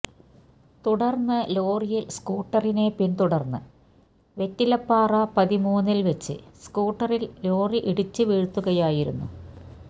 തുടര്ന്ന് ലോറിയില് സ്കൂട്ടറിനെ പിന്തുടര്ന്ന് വെറ്റിലപ്പാറ പതിമൂന്നല് വെച്ച് സ്ക്കൂട്ടറില് ലോറി ഇടിച്ച് വീഴ്ത്തുകയായിരുന്നു